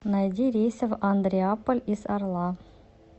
найди рейсы в андреаполь из орла